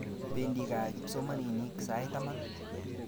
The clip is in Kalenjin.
Pendi kaa kipsomaninik sait taman